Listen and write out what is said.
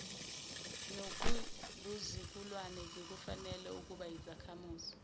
nobuzukulwane zikufanele ukubayizakhamizi